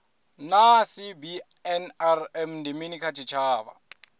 naa cbnrm ndi mini kha tshitshavha